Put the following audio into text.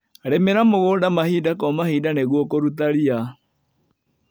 Rĩmira mũgunda mahinda kwa mahinda nĩguo kũruta ria.